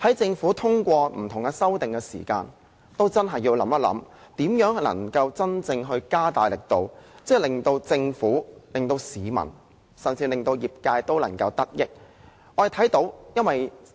政府通過不同修訂的時候，真的要想想應如何加大力度，令政府、市民甚至業界均能得益。